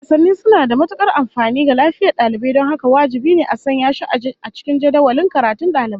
Wasanni suna da matukar amfani ga lafiyar dalibai don haka wajibi a sanya shi a cikin jadawalin karatun daliban